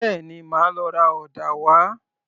Bẹ́ẹ̀ni, màá lọ ra ọ̀dà wá